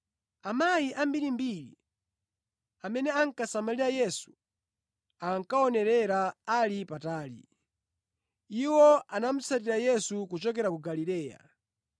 Amayi ambirimbiri amene ankasamalira Yesu ankaonerera ali patali. Iwo anamutsatira Yesu kuchokera ku Galileya.